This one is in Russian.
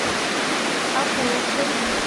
окуловкой